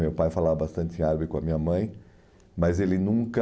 Meu pai falava bastante em árabe com a minha mãe, mas ele nunca...